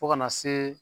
Fo kana se